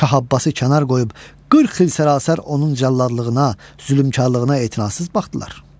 Şah Abbası kənar qoyub 40 il sərəsər onun cəlladlığına, zülmkarlığına etinasız baxdılar.